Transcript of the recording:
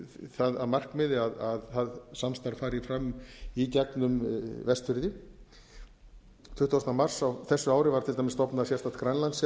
það að markmiði að það samstarf fari fram í gegnum vestfirði tuttugasta mars á þessu ári var til dæmis stofnað sérstakt